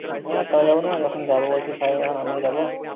হ্যাঁ, তা যাবো না! যখন যাবো বলছিস সবাই, তখন আমিও যাবো।